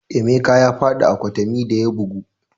Emeka ya faɗi a kwatami da ya bugu